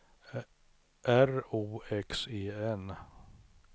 R O X E N